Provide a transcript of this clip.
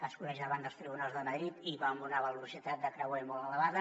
es coneix davant dels tribunals de madrid i va a una velocitat de creuer molt elevada